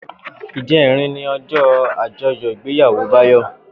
Ijèrín ni òjò ájòyò igbéyàwó Bayo